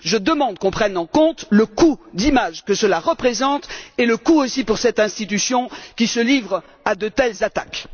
Je demande que l'on prenne en compte le coût d'image que cela représente, ainsi que le coût pour cette institution qui se livre à de telles attaques!